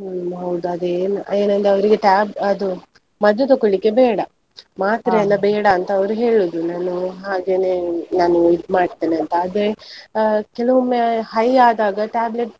ಹ್ಮ್ ಹೌದು ಅದೇ ಏನಂದ್ರೆ ಅವರಿಗೆ tab~ ಅದು, ಮದ್ದು ತಕೊಳ್ಳಿಕೆ ಬೇಡ ಮಾತ್ರೆ ಅಂತ ಅವರು ಹೇಳುದು, ನಾನು ಹಾಗೇನೆ ನಾನು ಇದು ಮಾಡ್ತೇನೆ ಅಂತ ಆದ್ರೆ, ಆ ಕೆಲವೊಮ್ಮೆ high ಆದಾಗ tablet